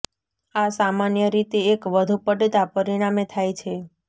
આ સામાન્ય રીતે એક વધુ પડતા પરિણામે થાય છે